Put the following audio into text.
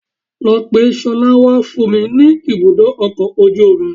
Lọ pe ṣọlá wá fún mi ní ibùdó ọkọ̀ ojú omi